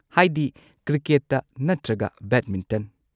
ꯍꯥꯏꯗꯤ ꯀ꯭ꯔꯤꯀꯦꯠꯇ ꯅꯠꯇ꯭ꯔꯒ ꯕꯦꯗꯃꯤꯟꯇꯟ꯫